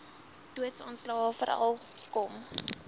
doodsaanslae veral kom